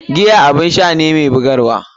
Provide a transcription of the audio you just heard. Giya abun sha ne mai bugarwa.